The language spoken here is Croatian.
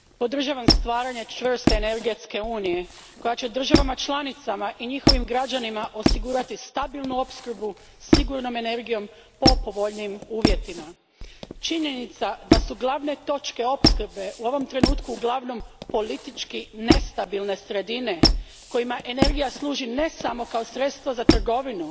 Gospodine predsjedniče, podržavam stvaranje čvrste energetske unije koja će državama članicama i njihovim građanima osigurati stabilnu opskrbu sigurnom energijom po povoljnijim uvjetima. Činjenica da su glavne točke opskrbe u ovom trenutku uglavnom politički nestabilne sredine kojima energija služi ne samo kao sredstvo za trgovinu,